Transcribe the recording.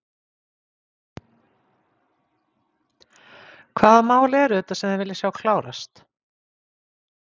Hvaða mál eru þetta sem þið viljið sjá klárast?